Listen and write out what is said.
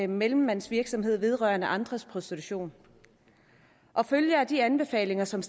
mellemmandsvirksomhed vedrørende andres prostitution og følger af de anbefalinger som